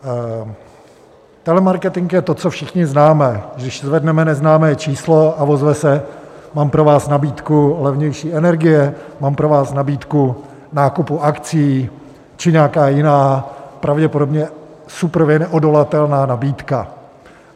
Telemarketing je to, co všichni známe - když zvedneme neznámé číslo a ozve se: Mám pro vás nabídku levnější energie, mám pro vás nabídku nákupu akcií či nějaká jiná, pravděpodobně suprově neodolatelná nabídka.